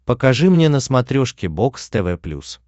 покажи мне на смотрешке бокс тв плюс